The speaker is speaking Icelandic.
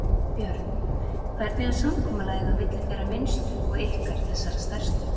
Björn: Hvernig er samkomulagið á milli þeirra minnstu og ykkar þessara stærstu?